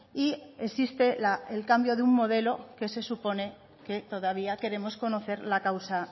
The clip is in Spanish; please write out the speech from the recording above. y existe el cambio de un modelo que se supone que todavía queremos conocer la causa